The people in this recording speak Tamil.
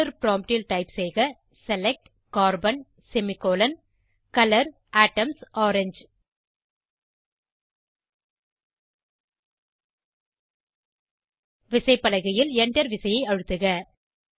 டாலர் ப்ராம்ப்ட் ல் டைப் செய்க select carbon semicolon colour atoms orange விசைப்பலகையில் Enter விசையை அழுத்துக